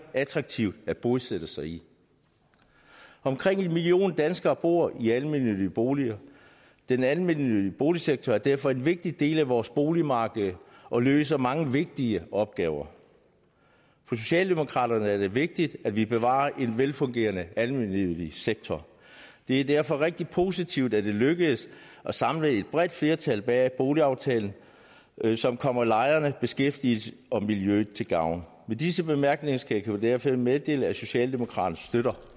attraktive at bosætte sig i omkring en million danskere bor i almennyttige boliger den almennyttige boligsektor er derfor en vigtig del af vores boligmarked og løser mange vigtige opgaver for socialdemokraterne er det vigtigt at vi bevarer en velfungerende almennyttig sektor det er derfor rigtig positivt at det lykkedes at samle et bredt flertal bag boligaftalen som kommer lejerne beskæftigelsen og miljøet til gavn med disse bemærkninger skal jeg derfor meddele at socialdemokraterne støtter